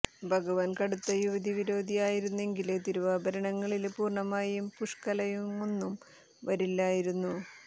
ഭഗവാൻ കടുത്ത യുവതി വിരോധി ആയിരുന്നെങ്കില് തിരുവാഭരണങ്ങളില് പൂര്ണ്ണയും പുഷ്ക്കലയുമൊന്നും വരില്ലായിരുന്നു